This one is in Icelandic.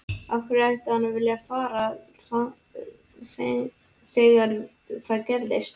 Af hverju ætti hann að vilja fara þegar það gerist?